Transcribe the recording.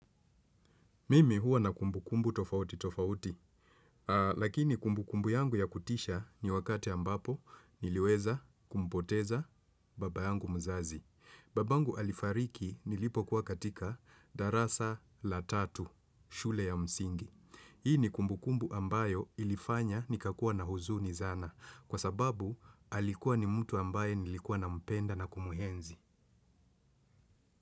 Mimi huwa na kumbu kumbu tofauti tofauti, lakini kumbu kumbu yangu ya kutisha ni wakati ambapo niliweza kumpoteza baba yangu mzazi. Mimi huwa na kumbu kumbu tofauti tofauti, lakini kumbu kumbu yangu ya kutisha ni wakati ambapo niliweza kumpoteza baba yangu mzazi. Hii ni kumbu kumbu ambayo ilifanya nikakua na huzuni sana, kwa sababu alikuwa ni mtu ambaye nilikuwa nampenda na kumuenzi.